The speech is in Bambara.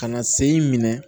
Ka na sen in minɛ